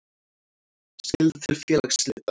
Skylda til félagsslita.